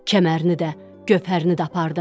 Kəmərini də, gövhərini də apardın.